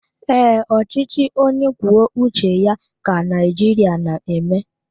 Ee, ọchịchị onye kwuo uche ya ka Naijiria na eme